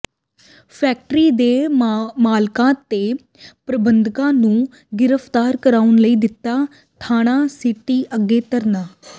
factory ਦੇ ਮਾਲਕਾਂ ਤੇ ਪ੍ਰਬੰਧਕਾਂ ਨੂੰ ਗਿ੍ਫ਼ਤਾਰ ਕਰਾਉਣ ਲਈ ਦਿੱਤਾ ਥਾਣਾ ਸਿਟੀ ਅੱਗੇ ਧਰਨਾ